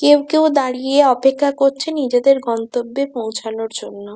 কেউ কেউ দাঁড়িয়ে অপেক্ষা করছে নিজেদের গন্তব্যে পৌঁছানোর জন্য।